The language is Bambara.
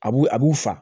A b'u a b'u fa